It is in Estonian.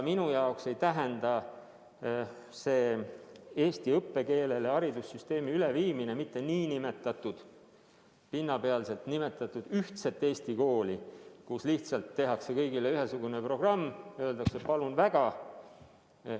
Minu jaoks ei tähenda haridussüsteemi üleviimine eesti õppekeelele mitte nn ühtset Eesti kooli – pinnapealselt nimetatuna –, kus lihtsalt tehakse kõigile ühesugune programm ja öeldakse, et palun väga.